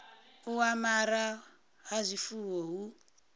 u amara ha zwifuwo hu